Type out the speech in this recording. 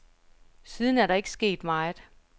Siden er der ikke sket meget.